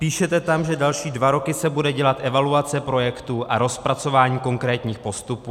Píšete tam, že další dva roky se bude dělat evaluace projektů a rozpracování konkrétních postupů.